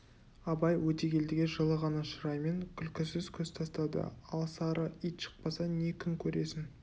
абай өтегелдіге жылы ғана шыраймен күлкісіз көз тастады ал сары ит шықпаса не күн көресің